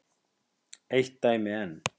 Eitt dæmi enn.